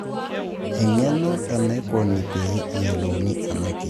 eng'eno enaikoni pee eyiolouni ena kias